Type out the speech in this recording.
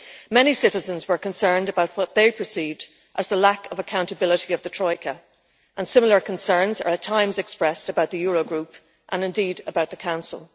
Many citizens were concerned about what they perceived as the lack of accountability of the troika and similar concerns are at times expressed about the Eurogroup and indeed about the Council.